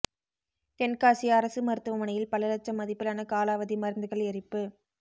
தென்காசி அரசு மருத்துவமனையில் பல லட்சம் மதிப்பிலான காலாவதி மருந்துகள் எரிப்பு